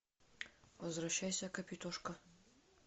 возвращайся капитошка